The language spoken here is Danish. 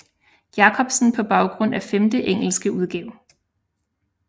Jacobsen på baggrund af femte engelske udgave